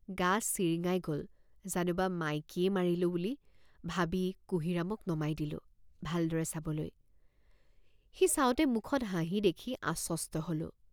গা চিৰিঙাই গ'ল জানোবা মাইকীয়ে মাৰিলোঁ বুলি ভাবি কুঁহিৰামক নমাই দিলোঁ ভালদৰে চাবলৈ সি চাওঁতে মুখত হাঁহি দেখি আশ্বস্ত হলোঁ।